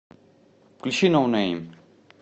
включи ноунэйм